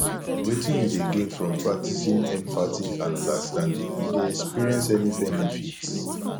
wetin you dey gain from practicing empathy and understanding you dey experience any benefits